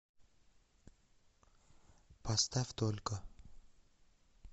поставь только